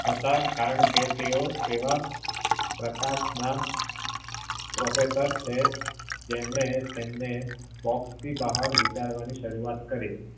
હતા કારણ એ તેઓ એવા પ્રકાશ ના professor છે જેમને તેમને વિતારવાની શુરુવાત કરી